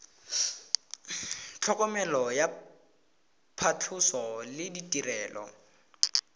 tlhokomelo ya phatlhoso le ditirelo